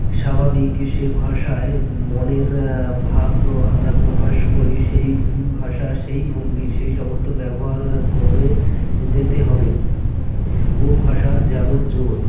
স্বাভাবিক সে ভাষায় মনের ভাব আমরা প্রকাশ করি সেই ভাষা সেই ভঙ্গি সেইসমস্ত ব্যবহার করে যেতে হবে ও ভাষার যেমন জোড়